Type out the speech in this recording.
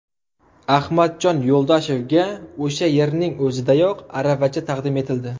Ahmadjon Yo‘ldoshevga o‘sha yerning o‘zidayoq aravacha taqdim etildi.